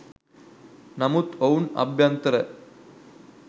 නමුත් ඔවුන් අභ්‍යන්තර